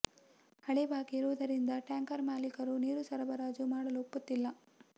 ಹಳೆ ಬಾಕಿ ಇರುವುದರಿಂದ ಟ್ಯಾಂಕರ್ ಮಾಲೀಕರು ನೀರು ಸರಬರಾಜು ಮಾಡಲು ಒಪ್ಪುತ್ತಿಲ್ಲ